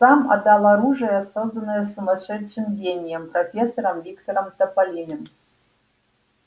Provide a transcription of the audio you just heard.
сам отдал оружие созданное сумасшедшим гением профессором виктором томилиным